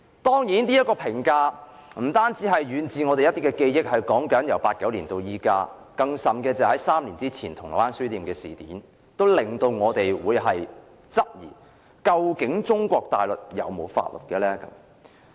當然，這評價不單基於我們久遠的記憶，由1989年至今，而3年前發生的銅鑼灣書店事件也令大家質疑中國大陸有否法律。